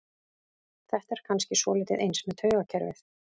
Þetta er kannski svolítið eins með taugakerfið.